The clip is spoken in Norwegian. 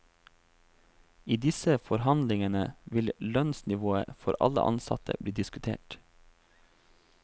I disse forhandlingene vil lønnsnivået for alle ansatte bli diskutert.